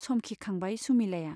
समखिखांबाय सुमिलाया।